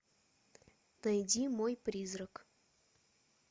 найди мой призрак